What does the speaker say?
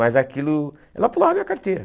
Mas aquilo, ela pulava a minha carteira.